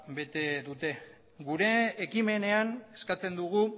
bete dute gure ekimenean eskatzen dugu